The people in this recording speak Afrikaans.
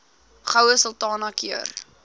goue sultana keur